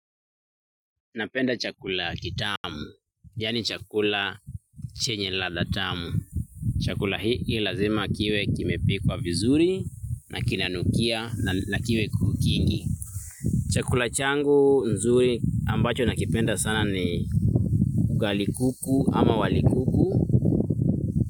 Napenda chakula kitamu, yaani chakula chenye ladha tamu. Chakula hii lazima kiwe kimepikwa vizuri, na kinanukia, na kiwe kingi. Chakula changu nzuri ambacho nakipenda sana ni ugali kuku ama wali kuku.